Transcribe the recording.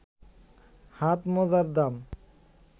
হাত মোজার দাম